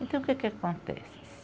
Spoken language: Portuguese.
Então, o que que acontece?